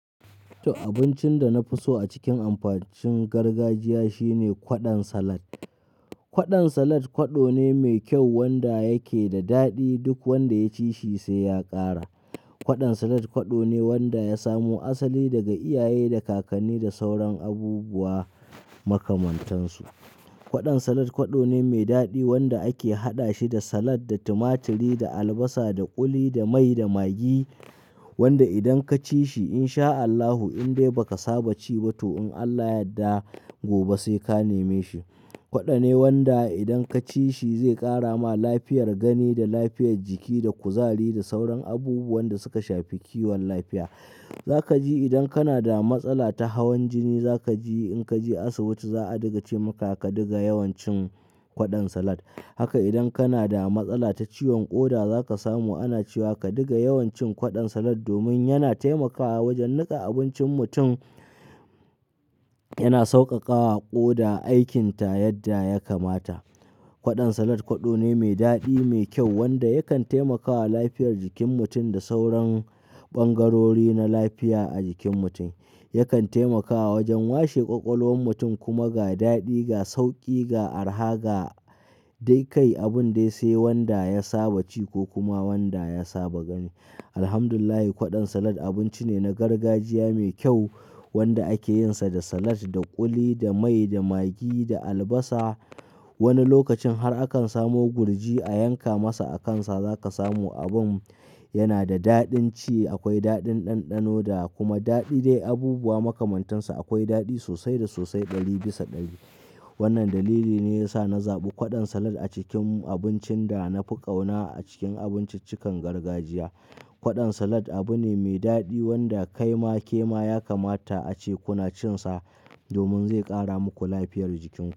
To abincin da na fi so a cikin abincin gargajiya shine kwaɗon salad. Kwaɗon salad kwaɗo ne mai kyau wanda yake da daɗi duk wanda ya ci shi sai ya ƙara. Kwaɗon salad kwaɗo ne wanda ya samo asali daga iyaye da kakanni da sauran abubuwa makamantansu. Kwaɗon salad kwaɗo ne mai daɗi wanda ake haɗa shi da salad, da tumaturi, da albasa, da ƙuli, da mai, da magi wanda idan ka ci shi in sha Allahu indai ba ka saba ci ba to in Allah yadda gobe sai ka neme shi. Kwaɗo ne wanda idan ka ci shi zai ƙara ma lafiyar gani da lafiyar jiki da kuzari da sauran abubuwan da suka shafi kiwon lafiya. Za ka ji idan kana da matsala ta hawan jini za ka ji in ka je asibiti za a dinga ce maka ka diga yawan cin kwaɗon salad. Haka idan kana da matsala ta ciwon ƙoda za ka samu ana cewa ka diga yawan cin kwaɗon salad domin yana taimakawa wajen nika abincin mutum, yana sauƙaƙa wa ƙoda aikinta yadda ya kamata. Kwaɗon salad kwaɗo ne mai daɗi, mai kyau wanda yakan taimakawa lafiyar jikin mutum da sauran ɓangarori na lafiya a jikin mutum. Yakan taimakawa wajen washe ƙwaƙwalwan mutum kuma ga daɗi, ga sauƙi, ga araha ga dai kai abun dai sai wanda ya saba ci ko kuma wanda ya saba gani. Alhamdulillah kwaɗon salad abinci ne na gargajiya mai kyau wanda ake yin sa da salad, da ƙuli, da mai, da magi, da albasa. Wani lokacin har akan samo gurji a yanka masa a kansa za ka samu abin yana da daɗin ci. Akwai daɗin ɗanɗanoda kuma daɗi dai abubuwa makamantansa akwai daɗi sosai da sosai ɗari bisa ɗari. Wannan dalili ne ya sa na zaɓi kwaɗon salad a cikin abincin da na fi ƙauna a cikin abinciccikan gargajiya. Kwaɗon salad abu ne mai daɗi wanda kaima kema ya kamata a ce kuna cin sa domin zai ƙara muku lafiyar jikin ku.